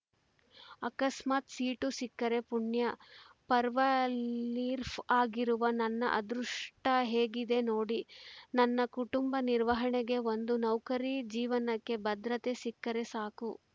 ಆಕಸ್ಮಾತ್‌ ಸೀಟು ಸಿಕ್ಕರೆ ಪುಣ್ಯ ಪರ್‌ವ ಲಿರ್ಫ್ ಆಗಿರುವ ನನ್ನ ಅದೃಷ್ಟಹೇಗಿದೆ ನೋಡಿ ನನ್ನ ಕುಟುಂಬ ನಿರ್ವಹಣೆಗೆ ಒಂದು ನೌಕರಿ ಜೀವನಕ್ಕೆ ಭದ್ರತೆ ಸಿಕ್ಕರೆ ಸಾಕು